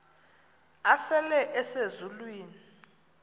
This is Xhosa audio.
asele ese zulwini